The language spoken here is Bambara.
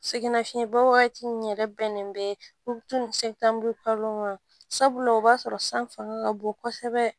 Sɛgɛnnafiɲɛbɔ wagati min yɛrɛ bɛnnen bɛ to ni ma sabula o b'a sɔrɔ san fanga ka bon kosɛbɛ